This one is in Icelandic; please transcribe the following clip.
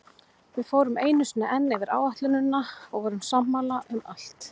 Við fórum einu sinni enn yfir áætlunina og vorum sammála um allt.